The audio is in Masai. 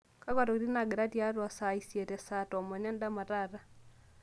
kakwa tokitin naangira tiatua saa isiet o saa tomon endama taata